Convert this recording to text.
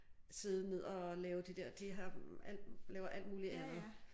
Sidde ned og lave de der de har alt laver alt muligt andet